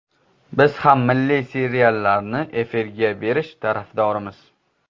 Biz ham milliy seriallarni efirga berish tarafdorimiz.